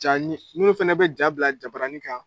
Ca ni minnu fana bɛ jaa bila jabaranin kan